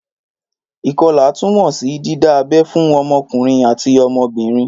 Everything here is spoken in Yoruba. Ìkọlà tún mọ sí dídá abẹ́ fún ọmọkùnrin àti ọmọbìnrin